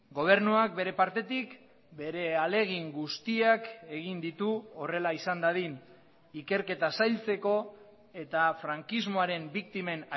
gobernuak bere partetik bere ahalegin guztiak egin ditu horrela izan dadin ikerketa zailtzeko eta frankismoaren biktimen